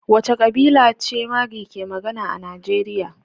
Wace kabila ce Marghi ke magana a Najeriya?